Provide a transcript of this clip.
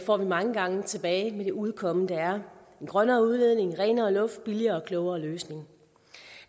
får vi mange gange tilbage med det udkomme der er en grønnere udledning renere luft billigere og klogere løsninger